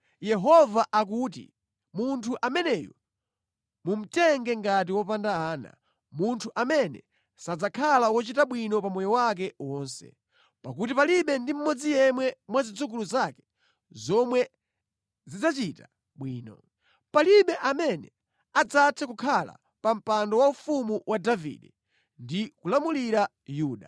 Yehova akuti, “Munthu ameneyu mumutenge ngati wopanda ana, munthu amene sadzakhala wochita bwino pamoyo wake wonse, pakuti palibe ndi mmodzi yemwe mwa zidzukulu zake zomwe zidzachita bwino. Palibe amene adzathe kukhala pa mpando waufumu wa Davide ndi kulamulira Yuda.”